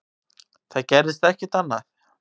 Það gerist ekkert annað.